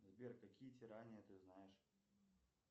сбер какие тирания ты знаешь